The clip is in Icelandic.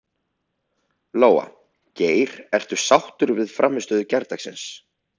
Lóa: Geir, ertu sáttur við frammistöðu gærdagsins?